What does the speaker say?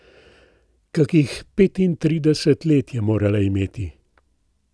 Kakih petintrideset let je morala imeti.